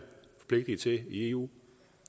vi er forpligtet til i eu